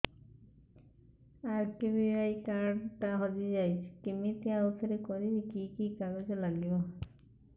RKBY card ଟା ହଜିଯାଇଛି କିମିତି ଆଉଥରେ କରିବି କି କି କାଗଜ ଲାଗିବ